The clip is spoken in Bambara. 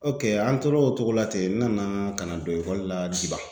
OK an tor'o cogo la ten n nana ka na don ekɔli la Diban.